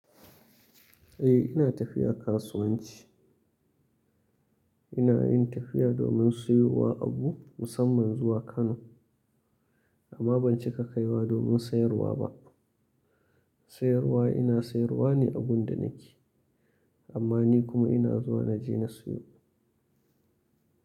Eh ina tafiya kasuwanci. Ina yin tafiya domin siyowa abu musamman zuwa Kano amma ban cika kaiwa domin sayarwa ba. Sayarwa ina sayarwa ne agun da nake amma ni kuma ina zuwa na je na siyo.